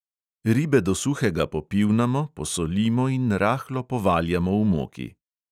Ribe do suhega popivnamo, posolimo in rahlo povaljamo v moki.